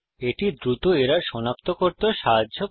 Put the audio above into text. এটি দ্রুত এরর সনাক্ত করতেও সাহায্য করে